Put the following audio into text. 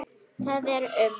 Það er um